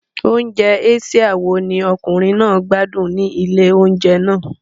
Oúnjẹ Asia wo ni ọkùnrin náà gbádùn ní ilé-oúnjẹ náà?